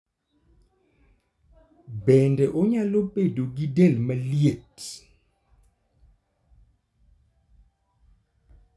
Bende onyalo bedo gi del maliet.